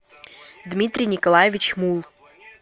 дмитрий николаевич мулл